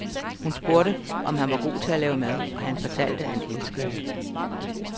Hun spurgte, om han var god til at lave mad, og han fortalte, at han elskede det.